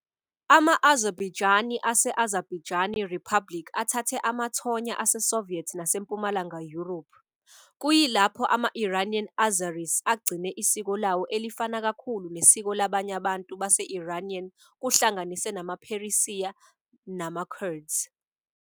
Ama-Azerbaijani ase-Azerbaijani Republic athathe amathonya aseSoviet naseMpumalanga Yurophu, kuyilapho ama-Iranian Azeris agcine isiko lawo elifana kakhulu nesiko labanye abantu base-Iranian kuhlanganise namaPheresiya namaKurds.